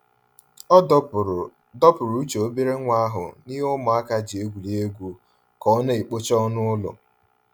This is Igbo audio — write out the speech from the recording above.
Ọ dọpụrụ dọpụrụ uche obere nwa ahụ n'he ụmụaka ji egwuri egwu ka ọ na-ekpocha ọnụ ụlọ.